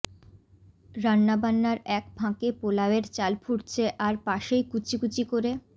রান্নাবান্নার এক ফাঁকে পোলাওয়ের চাল ফুটছে আর পাশেই কুচি কুচি করে